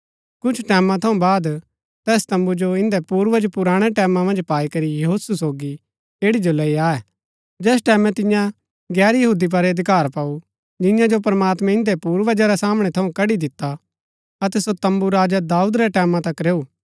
कुछ टैमां थऊँ बाद तैस तम्बू जो इन्दै पूर्वज पुराणै टैमां मन्ज पाई करी यहोशु सोगी ऐड़ी जो लैई आये जैस टैमैं तिन्ये तियां गैर यहूदी पुर अधिकार पाऊ जिंआं जो प्रमात्मैं इन्दै पूर्वजा रै सामणै थऊँ कड़ी दिता अतै सो तम्बू राजा दाऊद रै टैमां तक रैऊ